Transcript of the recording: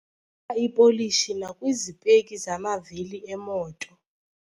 ka ipolishi nakwizipeki zamavili emoto.